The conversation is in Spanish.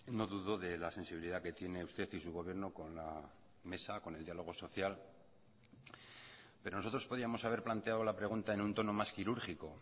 no dudo de la sensibilidad que tiene usted y su gobierno con la mesa con el diálogo social pero nosotros podíamos haber planteado la pregunta en un tono más quirúrgico